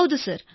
ಹೌದು ಸರ್